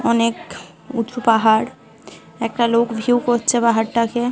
অনেক উঁচু পাহাড়। একটা লোক ভিউ করছে পাহাড় টাকে ।